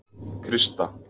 Krista